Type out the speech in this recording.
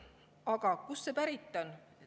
Aga kust see pärit on?